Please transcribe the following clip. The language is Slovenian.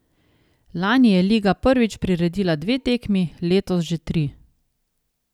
Lani je liga prvič priredila dve tekmi, letos že tri.